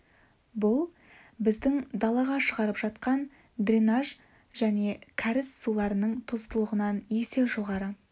бұл біздің далаға шығарып тастап жатқан дренаж және кәріз суларының тұздылығынан есе жоғары